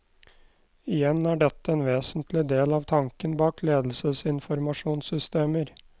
Igjen er dette en vesentlig del av tanken bak ledelsesinformasjonssystemer.